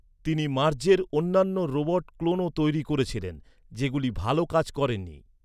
তিনি মার্জের অন্যান্য রোবট ক্লোনও তৈরি করেছিলেন, যেগুলি ভাল কাজ করেনি।